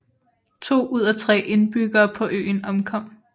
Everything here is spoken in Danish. To ud af tre indbyggere på øen omkom